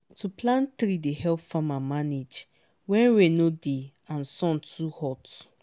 to plant tree dey help farmer manage when rain no dey and sun too hot.